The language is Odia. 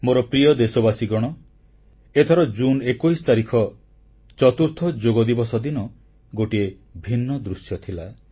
ମୋର ପ୍ରିୟ ଦେଶବାସୀଗଣ ଏଥର ଜୁନ୍ 21 ତାରିଖ ଚତୁର୍ଥ ଯୋଗଦିବସ ଦିନ ଗୋଟିଏ ଭିନ୍ନ ଦୃଶ୍ୟ ଥିଲା